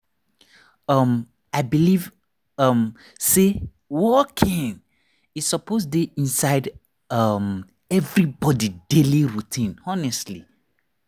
um i believe um say walking e suppose dey inside um everybody daily routine honestly.